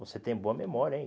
Você tem boa memória, hein?